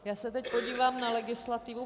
Já se teď podívám na legislativu.